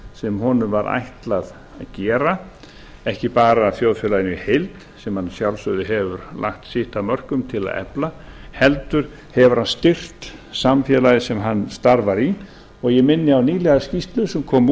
sem honum var ætlað að gera ekki bara þjóðfélaginu í heild sem hann að sjálfsögðu hefur lagt sitt af mörkum til að efla heldur hefur hann styrkt samfélagið sem hann starfar í og ég minni á nýlega skýrslu sem kom